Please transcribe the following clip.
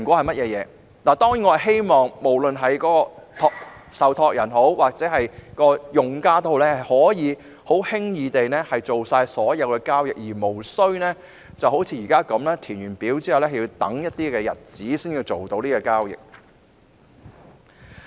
我希望受託人及計劃成員屆時均可輕易地處理所有交易，而無須像現時這般，填表後要等上數天才能完成交易。